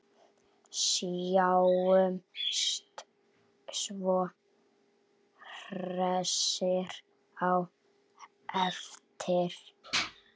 Sjáumst svo hressir á eftir.